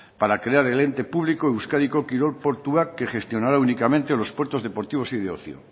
para crear el ente público euskadiko kirol portuak que gestionará únicamente los puertos deportivos y de ocio